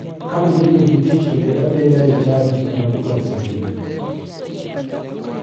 Ka ionge gi tich to bed abeda e chadi kata bura oserumo